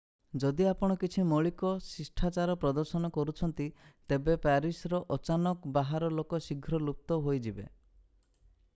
ଯଦି ଆପଣ କିଛି ମୌଳିକ ଶିଷ୍ଟାଚାର ପ୍ରଦର୍ଶନ କରୁଛନ୍ତି ତେବେ ପ୍ୟାରିସର ଅଚାନକ ବାହାର ଲୋକ ଶୀଘ୍ର ଲୁପ୍ତ ହୋଇଯିବେ